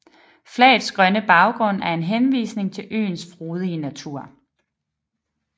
Flagets grønne baggrund er en henvisning til øens frodige natur